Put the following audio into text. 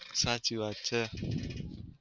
સાચી વાત છે.